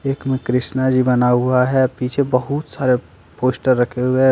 एक में कृष्ण जी बना हुआ है पीछे बहुत सारे पोस्टर रखे हुए हैं।